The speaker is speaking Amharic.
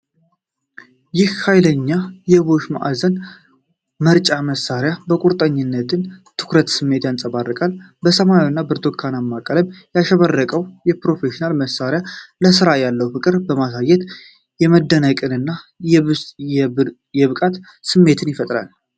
ይህ ኃይለኛ የቦሽ ማዕዘን መፍጫ መሣሪያ የቁርጠኝነትንና የትኩረት ስሜት ያንጸባርቃል። በሰማያዊና ብርቱካናማ ቀለም ያሸበረቀው የፕሮፌሽናል መሣሪያ ለሥራ ያለውን ፍቅር በማሳየት የመደነቅንና የብቃት ስሜት ይፈጥራል።